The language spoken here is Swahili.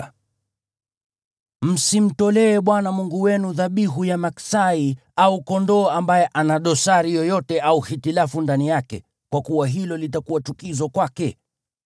Msimtolee Bwana Mungu wenu dhabihu ya maksai au kondoo ambaye ana dosari yoyote au hitilafu ndani yake, kwa kuwa hilo litakuwa chukizo kwake.